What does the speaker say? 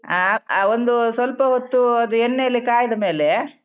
ಹಾ ಆ ಒಂದು ಸ್ವಲ್ಪ ಹೊತ್ತು ಆದ್ ಎಣ್ಣೆ ಅಲ್ಲಿ ಕಾಯ್ದ ಮೇಲೆ.